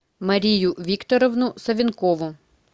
марию викторовну савенкову